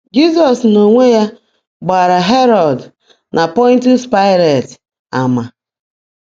Jizọs n’onwe ya gbaara Herọd na Pọntius Paịlet ama.